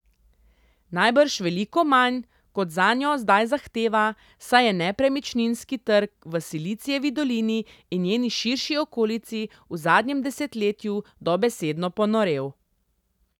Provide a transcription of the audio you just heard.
Najbrž veliko manj, kot zanjo zdaj zahteva, saj je nepremičninski trg v Silicijevi dolini in njeni širši okolici v zadnjem desetletju dobesedno ponorel.